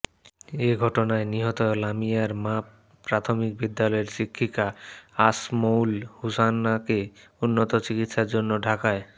এঘটনায় নিহত লামিয়ার মা প্রাথমিক বিদ্যালয়ের শিক্ষিকা আসমউল হুসনাকে উন্নত চিকিৎসার জন্য ঢাকায়